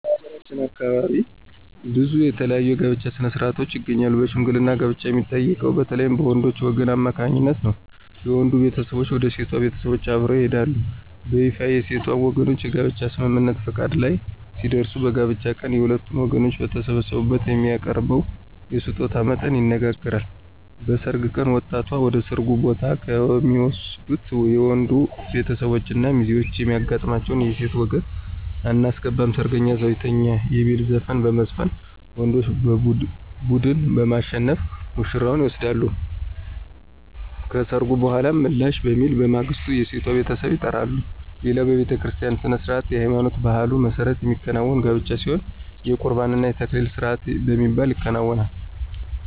በሀገራችን ከአካባቢ አካባቢ ብዙ የተለያዩ የጋብቻ ሥነ-ሥርዓቶች ይገኛሉ በሽምግልና ጋብቻን የሚጠይቀው በተለይም በወንዶች ወገን አማካኝነት ነው። የወንዱ ቤተሰቦች ወደ ሴቷ ቤተሰቦች አብረው ይሄዳሉ። በይፋ የሴቷ ወገኖች የጋብቻ ስምምነት(ፈቃድ) ላይ ሲደርሱ በጋብቻው ቀን የሁለቱም ወገኖች በተሰበሰቡበት የሚያቀርበውን የስጦታ መጠን ይነጋገራሉ። በሰርግ ቀን ወጣቷን ወደ ሰርጉ ቦታ ከሚወስዱት የወንዶች ቤተሰቦች እና ሚዜዎች የሚያጋጥማቸው የሴት ወገን *አናስገባም ሰርገኛ እዛው ይተኛ* የሚል ዘፈን በመዝፈን ወንዶች ቡድን በማሸነፍ ውሽራዋን ይወስዳሉ። ከሰርጉ በኃላ ምላሽ በሚል በማግስቱ የሴቷ ቤተሰብ ይጠራሉ። ሌላው በቤተክርስቲያ ሥነ-ሥርዓት በሃይማኖትና በባህሉ መሠረት የሚከናወን ጋብቻ ሲሆን የቁርባን እና የተክሊል ስርአት በሚባል ይከናወናል።